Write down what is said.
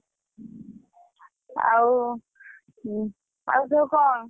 ଆଉ ଆଉ ସବୁ କଁ?